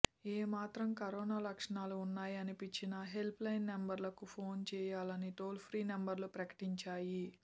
ఏ మాత్రం కరోనా లక్షణాలు ఉన్నాయనిపించినా హెల్ప్ లైన్ నంబర్లకు ఫోన్ చేయాలని టోల్ ఫ్రీ నంబర్లు ప్రకటించాయి